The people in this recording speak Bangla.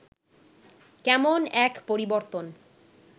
কেমন এক পরিবর্তন